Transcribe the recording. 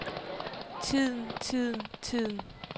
tiden tiden tiden